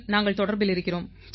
நாங்கள் தொடர்பில் இருக்கிறோம்